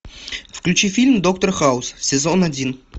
включи фильм доктор хаус сезон один